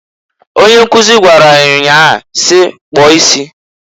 Onye nkuzu gwara ya nyaa si, "Kpụo isi!"